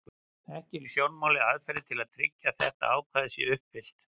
Ekki eru í sjónmáli aðferðir til að tryggja að þetta ákvæði sé uppfyllt.